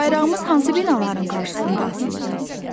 Bayrağımız hansı binaların qarşısında asılır?